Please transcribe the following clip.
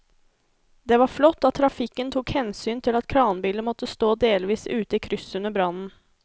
Det var flott at trafikken tok hensyn til at kranbilen måtte stå delvis ute i krysset under brannen.